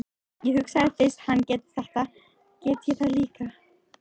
Ég hugsaði, fyrst hann getur þetta get ég það líka.